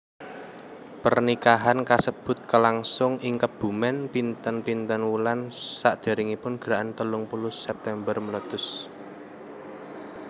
Pernikahan kasebut kalangsung ing Kebumen pinten pinten wulan sakderengipun Gerakan telung puluh September meletus